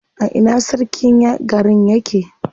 A ina sarkin garin yake?